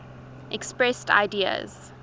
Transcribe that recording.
expressed ideas